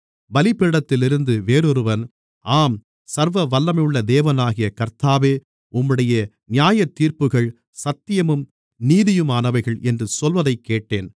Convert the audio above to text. பலிபீடத்திலிருந்து வேறொருவன் ஆம் சர்வவல்லமையுள்ள தேவனாகிய கர்த்தாவே உம்முடைய நியாயத்தீர்ப்புகள் சத்தியமும் நீதியுமானவைகள் என்று சொல்வதைக்கேட்டேன்